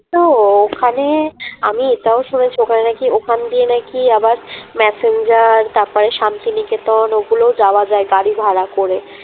তো ওখানে আমি এটাও শুনেছি ওখানে না কি ওখান দিয়ে না কি আবার ম্যাসেঞ্জার তারপরে শান্তিনিকেতন ওগুলোও যাওয়া যায় গাড়ি ভাড়া করে